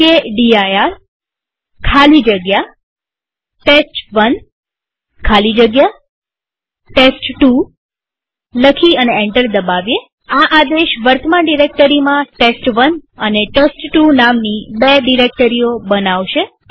mkdir ખાલી જગ્યા ટેસ્ટ1 ખાલી જગ્યા ટેસ્ટ2 લખી અને એન્ટર દબાવીએઆ આદેશ વર્તમાન ડિરેક્ટરીમાં ટેસ્ટ1 અને ટેસ્ટ2 નામની બે ડિરેક્ટરીઓ બનાવશે